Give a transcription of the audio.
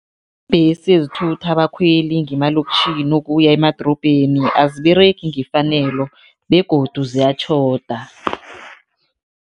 Iimbhesi ezithutha abakhweli ngemalokitjhini ukuya emadorobheni aziberegi ngefanelo begodu ziyatjhoda.